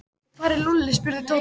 Og hvar er Lúlli? spurði Tóti.